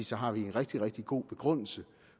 så har vi en rigtig rigtig god begrundelse